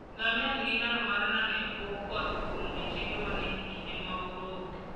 Ngamia nigi nyalo mar nano e bwo koth kuom odiechienge mang'eny e kinde ma oro onge.